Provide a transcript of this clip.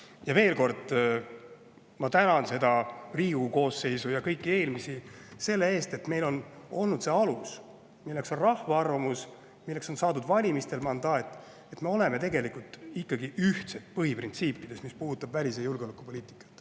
Ja veel kord, ma tänan seda Riigikogu koosseisu ja kõiki eelmisi selle eest, et meil on olnud see alus, milleks on rahva arvamus, milleks on valimistel saadud mandaat, ja me oleme ikkagi ühtsed põhiprintsiipides, mis puudutavad välis- ja julgeolekupoliitikat.